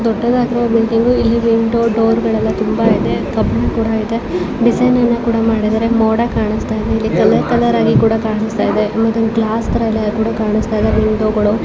ಇದು ದೊಡ್ಡದಾಗಿರುವ ಬಿಲ್ಡಿಂಗ್ ಇಲ್ಲಿ ವಿಂಡೋ ಡೋರ್ ಗಳು ಎಲ್ಲ ತುಂಬ ಇದೆ. ಕಬ್ಬಿಣ ಕೂಡ ಇದೆ. ಡಿಸೈನ್ ಅನ್ನ ಕೂಡ ಮಾಡಿದ್ದಾರೆ ಮತ್ತೆ ಮೋಡ ಕಾಣಿಸ್ತಾ ಇದೆ ಇಲ್ಲಿ ಕಲರ್ ಕಲರ್ ಆಗಿ ಕೂಡ ಕಾಣಿಸ್ತಾ ಇದೆ ಮತ್ತೆ ಅಲ್ಲಿ ಗ್ಲಾಸ್ ತರ ಇದೆ ಅದು ಕೂಡ ಕಾಣಿಸ್ತಾಯಿದೆ ವಿಂಡೋಗಳು .